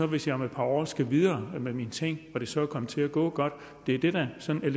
hvis jeg om et par år skal videre med mine ting og det så er kommet til at gå godt det er det der sådan